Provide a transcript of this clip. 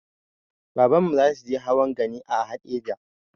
Babanmu zasuje hawan gani a haɗeja